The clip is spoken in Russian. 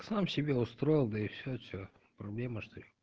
сам себе устроил да и все что проблема что ли